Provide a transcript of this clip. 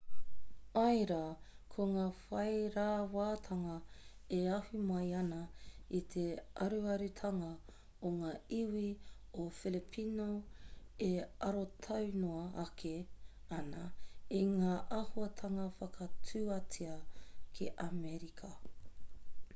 āe rā ko ngā whairawatanga e ahu mai ana i te aruarutanga o ngā iwi o filipino e arotau noa ake ana i ngā āhuatanga whakatuatea ki amerika